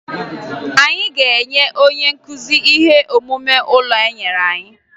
Anyị ga-enye onye nkụzi ihe omume ụlọ enyere anyị